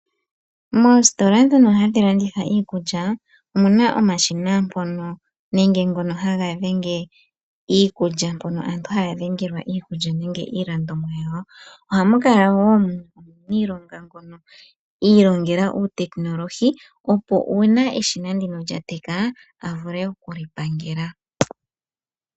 Moositola ndhono hadhi landitha iikulya omuna omashina mpono aantu haya dhengitha iikulya nenge iilandomwa yawo. Ohamu kala omuniilonga ngono iilongela uutekinolohini, opo uuna eshina ndino lya teka elipangele.